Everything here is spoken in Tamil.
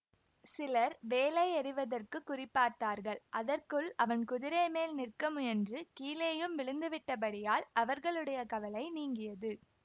சிலர் வேலை எறிவதற்குக் குறிபார்த்தார்கள் அதற்குள் அவன் குதிரைமேல் நிற்கமுயன்று கீழேயும் விழுந்து விட்டபடியால் அவர்களுடைய கவலை நீங்கியது